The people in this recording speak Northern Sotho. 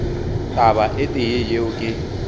taba e tee yeo ke